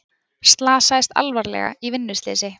Slasaðist alvarlega í vinnuslysi